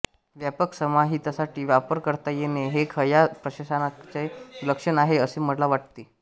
व्यापक समाजहितासाठी वापर करता येणे हे खया प्रशासकाचे लक्षण आहे असे मला वाटते